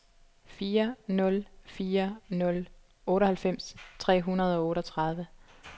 fire nul fire nul otteoghalvfems tre hundrede og otteogtredive